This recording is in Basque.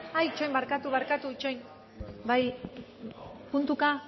ay itxaron barkatu barkatu izen bai puntuka